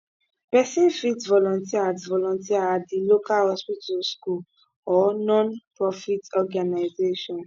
pesin fit volunteer at volunteer at di local hospital school or nonprofit organization